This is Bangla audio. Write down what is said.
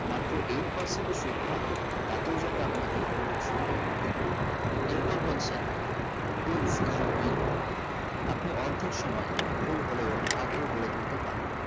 মাত্র eight percent এ সুদ পান তাতেই যেন আপনাকে কোনো অসুবিধায় পড়তে না এরপর বলছেন deals you win আপনি অর্ধেক সময় ভুল হলেও ভাগ্য গড়েতুলতে পারেন